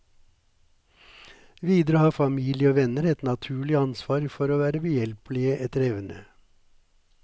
Videre har familie og venner et naturlig ansvar for å være behjelpelige etter evne.